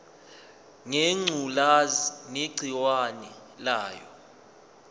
ngengculazi negciwane layo